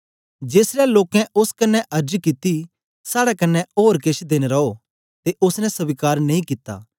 जेसलै लोकें ओस कन्ने अर्ज कित्ती साड़े कन्ने ओर केछ देन रो ते ओसने स्वीकार नेई कित्ता